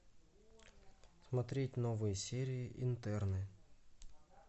смотреть новые серии интерны